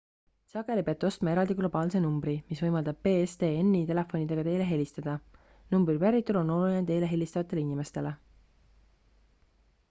sageli peate ostma eraldi globaalse numbri mis võimaldab pstn-i telefonidega teile helistada numbri päritolu on oluline teile helistavatele inimestele